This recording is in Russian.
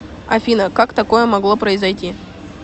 афина как такое могло произойти